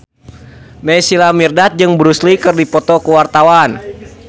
Naysila Mirdad jeung Bruce Lee keur dipoto ku wartawan